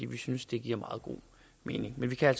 vi synes det giver meget god mening men vi kan